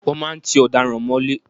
Wọ́n máa ń tí ọ̀daràn mọ́lé.